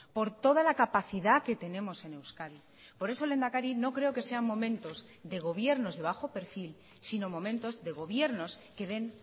por toda la capacidad que tenemos en euskadi por eso lehendakari no creo que sean momentos de gobiernos de bajo perfil sino momentos de gobiernos que den